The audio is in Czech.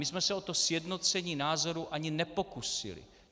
My jsme se o to sjednocení názorů ani nepokusili.